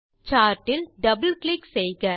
chart இல் double click செய்க